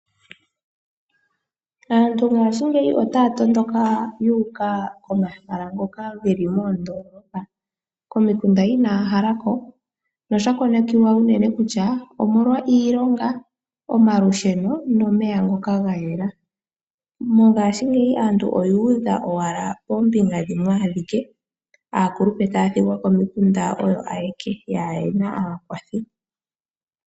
Aantu ngaashingeyi otaya tondoka yu uka komahala ngoka geli moondoolopa, komikunda inaya hala ko nosha konekiwa uunene kutya omolwa iilonga, omalusheno nomeya ngoka gayela. Moongashingeyi aantu oyu udha owala poombinga dhimwe ike aakulupe taya thigwa komikunda oyo ayeke kayena aakwathi.